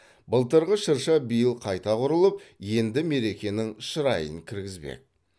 былтырғы шырша биыл қайта құрылып енді мерекенің шырайын кіргізбек